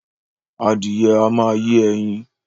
Adìyẹ a ma yé ẹyin